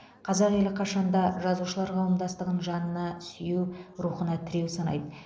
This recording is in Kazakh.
қазақ елі қашанда жазушылар қауымдастығын жанына сүйеу рухына тіреу санайды